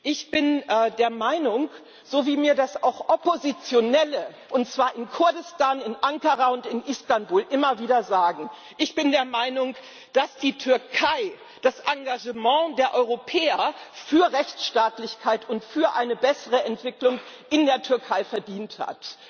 Ich bin der Meinung so wie mir das auch Oppositionelle, und zwar in Kurdistan, in Ankara und in Istanbul, immer wieder sagen dass die Türkei das Engagement der Europäer für Rechtsstaatlichkeit und für eine bessere Entwicklung in der Türkei verdient hat.